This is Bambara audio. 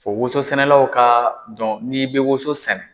Fɔ woso sɛnɛlaw k'a dɔn n'i bɛ woso sɛnɛ.